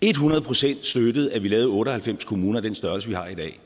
et hundrede procent støttede at vi lavede otte og halvfems kommuner af den størrelse vi har i dag